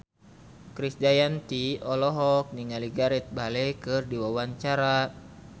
Krisdayanti olohok ningali Gareth Bale keur diwawancara